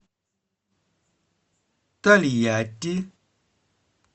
тольятти